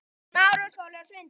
Og hreint líka!